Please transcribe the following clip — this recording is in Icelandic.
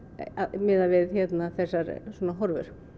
miðað við hérna þessar svona horfur